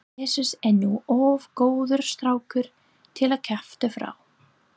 Jesús er nú of góður strákur til að kjafta frá.